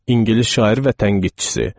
İngilis şairi və tənqidçisi.